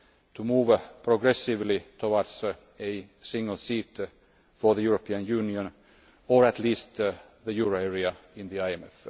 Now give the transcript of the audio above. to move progressively towards a single seat for the European Union, or at least the euro area, in the IMF.